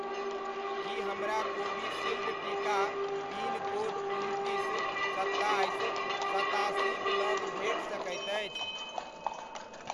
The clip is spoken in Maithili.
की हमरा कोविशील्ड टीका पिन कोड उनतीस, सत्ताइस, सतासीक लग भेट सकैत अछि?